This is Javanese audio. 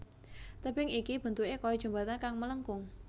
Tebing iki bentuké kaya jembatan kang melengkung